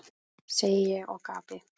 segi ég og gapi.